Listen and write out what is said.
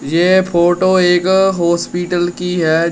ये फोटो एक हॉस्पिटल की है।